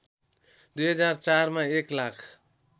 २००४ मा एक लाख